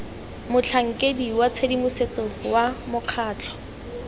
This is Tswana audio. motlhankeding wa tshedimosetso wa mokgatlho